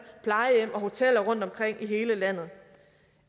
plejehjem og hoteller rundtomkring i hele landet